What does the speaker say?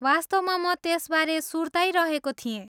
वास्तवमा म त्यसबारे सुर्ताइरहेको थिएँ।